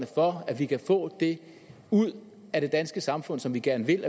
for at vi kan få det ud af det danske samfund som vi gerne vil